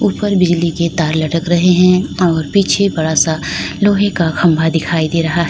उपर बिजली के तार लटक रहे हैं और पीछे बड़ा सा लोहे का खंबा दिखाई दे रहा है।